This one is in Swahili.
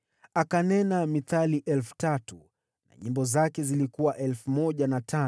Akanena mithali 3,000 na nyimbo zake zilikuwa 1,005.